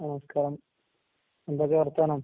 നമസ്കാരം. എന്തൊക്കെ വർത്താനം?